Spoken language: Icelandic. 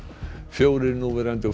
fjórir núverandi og